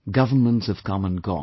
Governments have come and gone